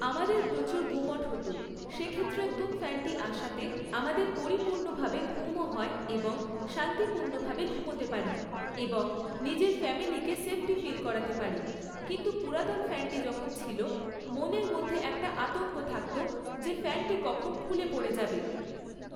আমাদের প্রচুর গুমোট হত, সেক্ষেত্রে নতুন ফ্যানটি আসাতে আমাদের পরিপূর্ণভাবে ঘুমও হয় এবং শান্তিপূর্ণভাবে ঘুমোতে পারি। এবং নিজের ফ্যামিলিকে সেফটি ফিল করাতে পারি, কিন্তু পুরাতন ফ্যানটি যখন ছিল, মনের মধ্যে একটা আতঙ্ক রয়ে থাকতো যে ফ্যানটি কখন খুলে পড়ে যাবে।